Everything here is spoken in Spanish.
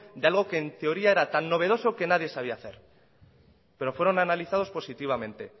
de algo que en teoría era tan novedoso que nadie sabía hacer pero fueron analizados positivamente